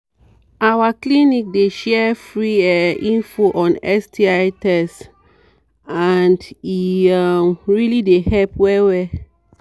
our clinic dey share free um info on sti test and e um really dey help well well